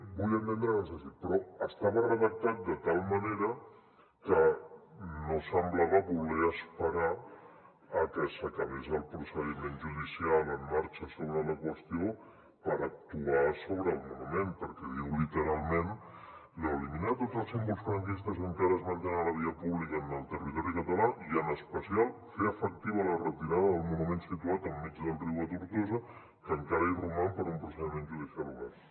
vull entendre que no és així però estava redactat de tal manera que no semblava voler esperar a que s’acabés el procediment judicial en marxa sobre la qüestió per actuar sobre el monument perquè diu literalment eliminar tots els símbols franquistes que encara es mantenen a la via pública en el territori català i en especial fer efectiva la retirada del monument situat enmig del riu a tortosa que encara hi roman per un procediment judicial obert